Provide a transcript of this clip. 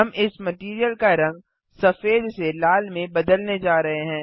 हम इस मटैरियल का रंग सफेद से लाल में बदलने जा रहे हैं